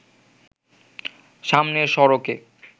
সামনের সড়কে